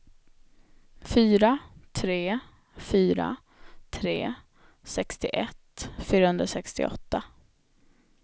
fyra tre fyra tre sextioett fyrahundrasextioåtta